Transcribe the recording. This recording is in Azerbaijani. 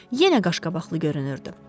Yenə qaşqabaqlı görünürdü.